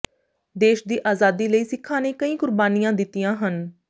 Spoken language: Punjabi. ਦੇਸ਼ ਦੀ ਆਜ਼ਾਦੀ ਲਈ ਸਿੱਖਾਂ ਨੇ ਕਈ ਕੁਰਬਾਨੀਆਂ ਦਿੱਤੀਆਂ ਹਨ